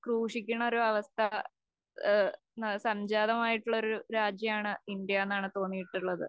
ക്രൂശിക്കണൊരവസ്ഥ ഏഹ് സംജാതമായിട്ടുള്ളൊരു രാജ്യമാണ് ഇന്ത്യ എന്നാണ് തോന്നിയിട്ടുള്ളത്